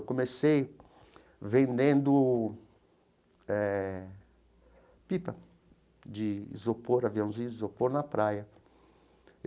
Eu comecei vendendo eh pipa de isopor, aviãozinho de isopor, na praia.